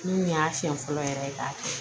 Min y'a siɲɛ fɔlɔ yɛrɛ k'a kɛ